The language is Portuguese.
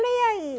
Lê aí.